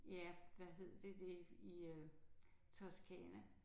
Ja hvad hed det ved i øh Toscana